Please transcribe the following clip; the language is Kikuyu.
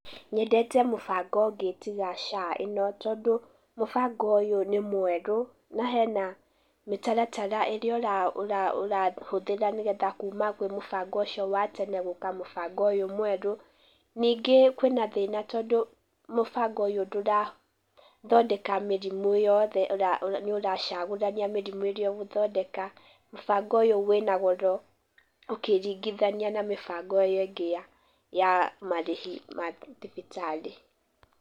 Nyendete mũbango ũngĩ tiga SHA ĩno tondũ mũbango ũyũ nĩ mwerũ, na hena mĩtaratara ĩrĩa ũrahũthĩra nĩgetha kuma kwĩ mũbango ũcio wa tene gũka mũbango ũyũ mwerũ, ningĩ kwĩna thĩna tondũ mũbango ũyũ ndũrathondeka mĩrimũ yothe, nĩũracagũrania mĩrimũ ĩrĩa ũgũthondeka, mũbango ũyũ wĩna goro, ũkĩringithania na mĩbango ĩyo ĩngĩ ya marĩhi ma thibitarĩ.